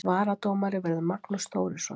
Varadómari verður Magnús Þórisson.